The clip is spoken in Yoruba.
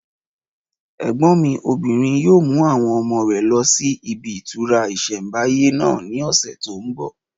Ẹ̀gbọ́n mi obìnrin yóò mú àwọn ọmọ rẹ lọ sí ibi ìtura ìsẹ̀mbáyé náà ní ọ̀sẹ̀ tó n bọ̀